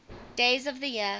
days of the year